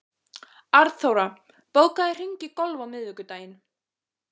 Arnþóra, bókaðu hring í golf á miðvikudaginn.